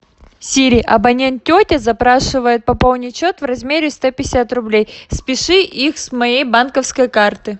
сири абонент тетя запрашивает пополнить счет в размере сто пятьдесят рублей спиши их с моей банковской карты